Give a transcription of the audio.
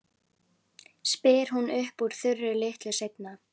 spyr hún upp úr þurru litlu seinna.